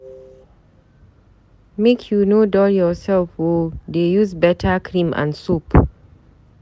Make you no dull yourself o, dey use beta cream and soap.